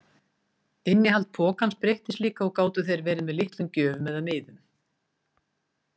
Innihald pokans breyttist líka og gátu þeir verið með litlum gjöfum eða miðum.